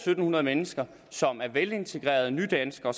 hundrede mennesker som er velintegrerede nydanskere